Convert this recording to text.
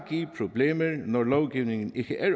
give problemer når lovgivningen ikke er